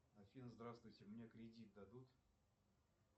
афина здравствуйте мне кредит дадут